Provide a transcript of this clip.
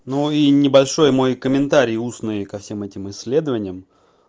ну и небольшой мой комментарий устные ко всем этим исследованиям